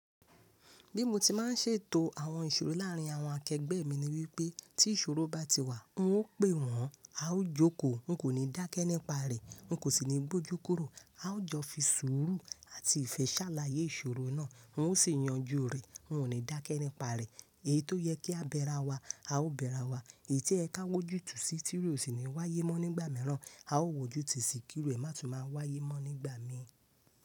Bí mo ti má n ṣètò àwọn ìṣòro láàrín àwọn akẹgbẹ́ mi ni wípé tí ìṣòro bá ti wà, n ó pè wọ́n, a ó jókòó, n kò ní dákẹ́ nípa rẹ̀, n kò sì ní gbójú kúrò. A ó jọ fi sùúrù àti ìfẹ́ ṣàlàyé ìṣòro náà, n ó sì yanjú rẹ̀, n ó ní dákẹ́ nípa rẹ̀. Èyí tó yẹ kí a bẹra wa, a ó bẹra wa. Èyí tí ẹ ka wójú tì sí tí ó sì ní wáyé mọ́ nígbà mìíràn, a ó wójú tù sí kí ìrú è má tún má a wáyé mọ́ nígbà mi.